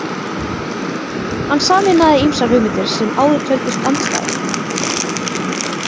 Hann sameinaði ýmsar hugmyndir sem áður töldust andstæður.